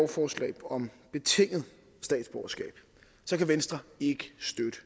forslag om betinget statsborgerskab kan venstre ikke støtte